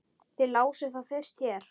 Þið lásuð það fyrst hér!